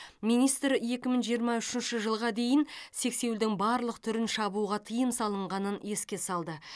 министр екі мың жиырма үшінші жылға дейін сексеуілдің барлық түрін шабуға тыйым салынғанын еске салды